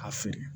A feere